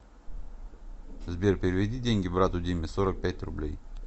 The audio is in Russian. сбер переведи деньги брату диме сорок пять рублей